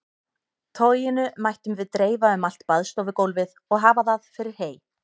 Toginu mættum við dreifa um allt baðstofugólfið og hafa það fyrir hey.